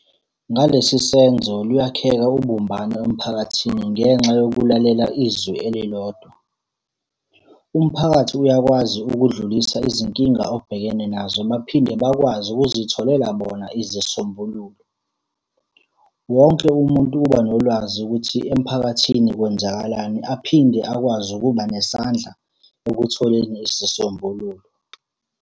Ngalesi senzo luyakheka ubumbano emphakathini ngenxa yokulalela izwi elilodwa. Umphakathi uyakwazi ukudlulisa izinkinga obhekene nazo baphinde bakwazi ukuzitholela bona izisombululo. Wonke umuntu uba nolwazi ukuthi emphakathini kwenzakalani aphinde akwazi ukuba nesandla ekutholeni isisombululo.